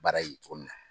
Baara ye cogo min na